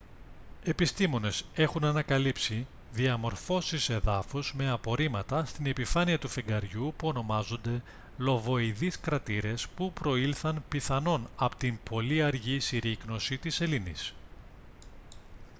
οι επιστήμονες έχουν ανακαλύψει διαμορφώσεις εδάφους με απορρίμματα στην επιφάνεια του φεγγαριού που ονομάζονται λοβοειδείς κρατήρες που προήλθαν πιθανόν από την πολύ αργή συρρίκνωση της σελήνης